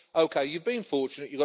Yes, okay, you've been fortunate.